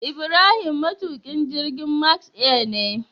Ibrahim matukin jirgin Max air ne